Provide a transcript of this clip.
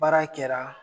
Baara kɛra